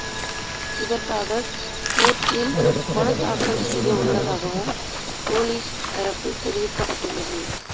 இதற்காக கோர்ட்டில் மனுத்தாக்கல் செய்ய உள்ளதாவும் போலீஸ் தரப்பில் தெரிவிக்கப்பட்டுள்ளது